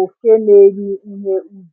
oke na-eri ihe ubi.